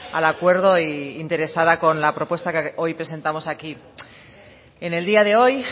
al acuerdo e interesada con la propuesta que hoy presentamos aquí en el día de hoy